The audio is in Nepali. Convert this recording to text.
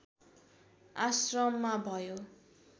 आश्रममा भयो